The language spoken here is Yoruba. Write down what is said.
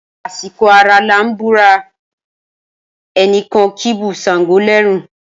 Asiko ara lan bura, enikan kibu sango lẹrun.